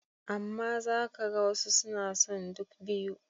Amma za ka ga wasu suna son duk biyu.